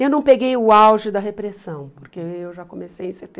Eu não peguei o auge da repressão, porque eu já comecei em